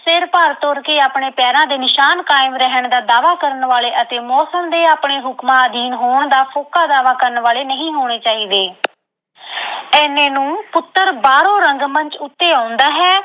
ਸਿਰ ਭਾਰ ਤੁਰ ਕੇ ਆਪਣੇ ਪੈਰਾਂ ਦੇ ਨਿਸ਼ਾਨ ਕਾਇਮ ਰਹਿਣ ਦਾ ਦਾਅਵਾ ਕਰਨ ਵਾਲੇ ਅਤੇ ਮੌਸਮ ਦੇ ਆਪਣੇ ਹੁਕਮਾਂ ਅਧੀਨ ਹੋਣ ਦਾ ਫੋਕਾ ਦਾਅਵਾ ਕਰਨ ਵਾਲੇ ਨਹੀਂ ਹੋਣੇ ਚਾਹੀਦੇ। ਇਹਨੇ ਨੂੰ ਪੁੱਤਰ ਬਾਹਰੋਂ ਰੰਗ ਮੰਚ ਉੱਤੇ ਆਉਂਦਾ ਹੈ